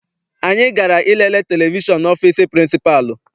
Anyị gara I lele televishọn n'ọfịịsi pịrịnsịpalụ.